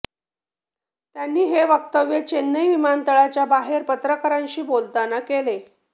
त्यांनी हे वक्तव्य चेन्नई विमानतळाच्या बाहेर पत्रकारांशी बोलताना केले